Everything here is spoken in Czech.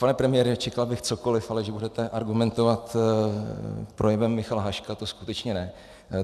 Pane premiére, čekal bych cokoliv, ale že budete argumentovat projevem Michala Haška, to skutečně ne.